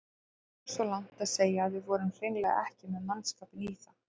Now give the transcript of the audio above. Ég geng svo langt að segja að við vorum hreinlega ekki með mannskapinn í það.